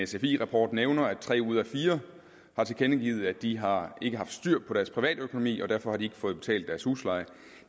sfi rapport nævner at tre ud af fire har tilkendegivet at de ikke har haft styr på deres privatøkonomi og derfor har de ikke fået betalt deres husleje